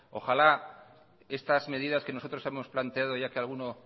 ojalá estas medidas que nosotros hemos planteado ya que alguno